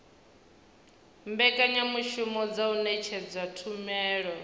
mbekanyamushumo dza u ṅetshedza tshumelo